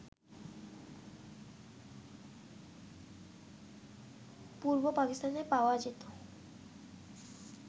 পূর্ব পাকিস্তানেও পাওয়া যেত